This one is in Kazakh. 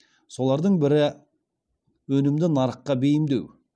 солардың бірі өнімді нарыққа бейімдеу